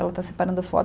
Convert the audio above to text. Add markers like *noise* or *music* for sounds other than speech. Ela está separando as *unintelligible*